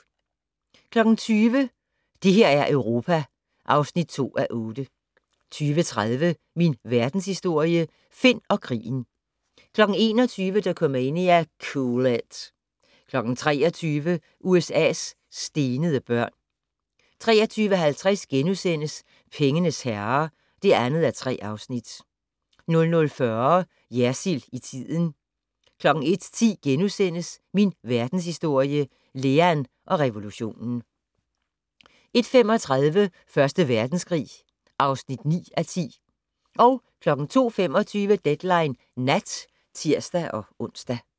20:00: Det her er Europa (2:8) 20:30: Min Verdenshistorie - Finn og krigen 21:00: Dokumania: Cool it 23:00: USA's stenede børn 23:50: Pengenes herrer (2:3)* 00:40: Jersild i tiden 01:10: Min Verdenshistorie - Lean og revolutionen * 01:35: Første Verdenskrig (9:10) 02:25: Deadline Nat (tir-ons)